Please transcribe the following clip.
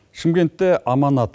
шымкентті аманат